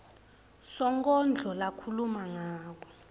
sonkondlo lakhuluma ngako